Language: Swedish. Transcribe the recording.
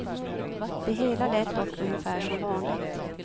Det hela lät dock ungefär som vanligt.